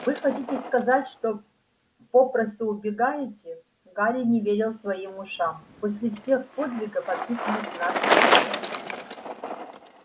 вы хотите сказать что попросту убегаете гарри не верил своим ушам после всех подвигов описанных в наших книгах